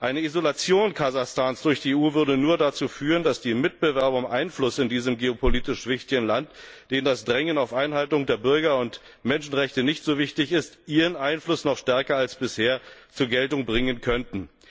Eine Isolation Kasachstans durch die EU würde nur dazu führen, dass die Mitbewerber um Einfluss in diesem geopolitisch wichtigen Land, denen das Drängen auf Einhaltung der Bürger und Menschenrechte nicht so wichtig ist, ihren Einfluss noch stärker als bisher zur Geltung bringen könnten.